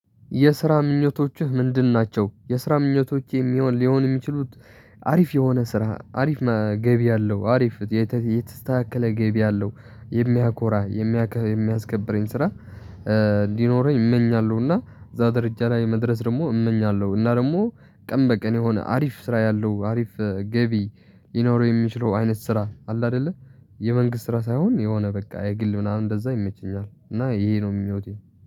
የስራ ምኞቶችህ ምንድን ናቸው? የስራ ምኞቶቼ የሚሆን ሊሆን የሚችሉት አሪፍ የሆነ ስራ አሪፍ ገቢ ያለው አሪፍ የተስተካከለ ገቢ ያለው የሚያኮራ የሚያከ የሚያስከብረኝ ስራ እንዲኖረኝ እመኛለሁ። እና እዛ ደረጃ ላይ መድረስ ደግሞ እመኛለሁ። እና ደግሞ ቀን በቀን የሆነ አሪፍ ስራ ያለው አሪፍ ገቢ ሊኖረው የሚችለው አይነት ስራ አለ። አይደለ የመንግስት ስራ ሳይሆን የሆነ በቃ የግል ምናምን እንደዛ ይመቸኛል እና ይሄ ነው ምኞቴ